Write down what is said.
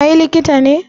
Kai likita ne?